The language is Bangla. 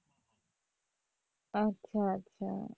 আচ্ছা আচ্ছা।